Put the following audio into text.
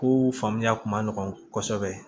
Ko faamuya kun ma nɔgɔn kosɛbɛ